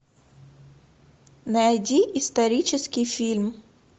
найди исторический фильм